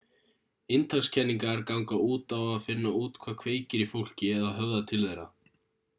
inntakskenningar ganga út á að finna út hvað kveikir í fólki eða höfðar til þeirra